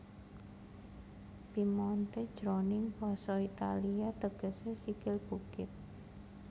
Piemonte jroning basa Italia tegesé sikil bukit